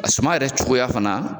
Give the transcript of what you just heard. A suma yɛrɛ cogoya fana